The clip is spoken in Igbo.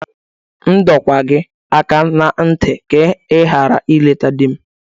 M dọọkwa gị aka ná ntị ka ị ghara ileta di m!